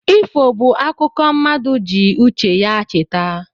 Ifo bụ akụkọ mmadụ ji uche ya cheta